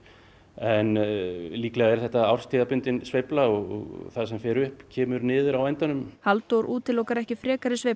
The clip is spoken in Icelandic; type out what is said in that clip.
en líklega er þetta árstíðabundin sveifla og það sem fer upp fer niður á endanum Halldór útilokar ekki frekari sveiflur